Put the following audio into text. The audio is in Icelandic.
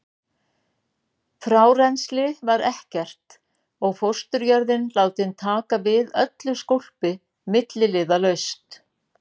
Frárennsli var ekkert og fósturjörðin látin taka við öllu skólpi milliliðalaust.